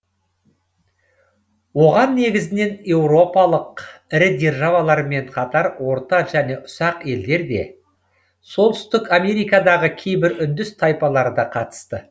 оған негізінен еуропалық ірі державалармен қатар орта және ұсақ елдер де солтүстік америкадағы кейбір үндіс тайпалары да қатысты